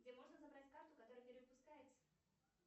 где можно забрать карту которая перевыпускается